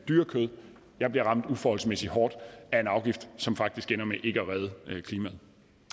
dyre kød bliver ramt uforholdsmæssigt hårdt af en afgift som faktisk ender med ikke at redde klimaet